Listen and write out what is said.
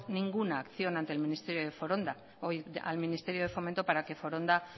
ninguna acción ante el ministerio de fomento para que foronda